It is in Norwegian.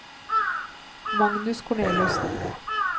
Magnus Korneliussen